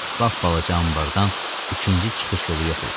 Pap-balaca anbardan ikinci çıxış yolu yox idi.